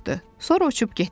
Sonra uçub getdi.